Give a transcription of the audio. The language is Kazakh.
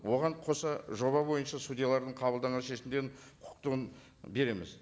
оған қоса жоба бойынша судьялардың қабылдаған шешімдерінің құқықтығын береміз